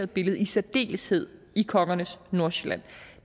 billede i særdeleshed i kongernes nordsjælland